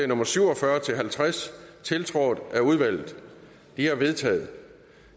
nummer syv og fyrre til halvtreds tiltrådt af udvalget de er vedtaget